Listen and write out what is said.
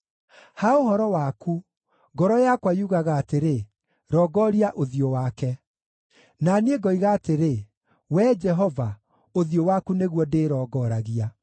Ha ũhoro waku, ngoro yakwa yugaga atĩrĩ, “Rongoria ũthiũ wake!” Na niĩ ngoiga atĩrĩ, Wee Jehova, ũthiũ waku nĩguo ndĩ rongoragia.